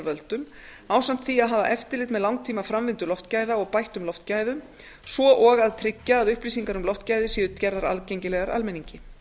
völdum ásamt því að hafa eftirlit með langtímaframvindu loftgæða og bættum loftgæðum svo og að tryggja að upplýsingar um loftgæði séu gerðar aðgengilegar almenningi